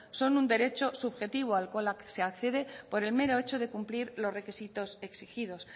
son un derecho subjetivo al cual se accede por el mero hecho de cumplir los requisitos exigidos